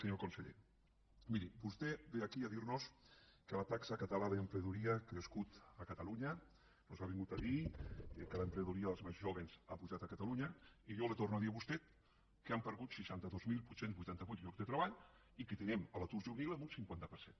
senyor conseller miri vostè ve aquí a dir nos que la taxa catalana d’emprenedoria ha crescut a catalunya ens ha vingut a dir que l’emprenedoria dels més jóvens ha pujat a catalunya i jo li torno a dir a vostè que han perdut seixanta dos mil vuit cents i vuitanta vuit llocs de treball i que tenim l’atur juvenil en un cinquanta per cent